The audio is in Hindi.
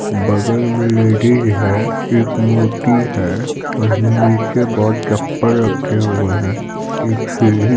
बगल में लेडीज है एक मूर्ति है और नीचे बहुत चप्पल रखे हुए हैं एक सीढ़ी --